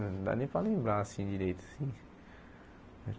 Não dá nem para lembrar, assim, direito assim.